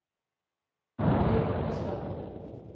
Eivind Lystad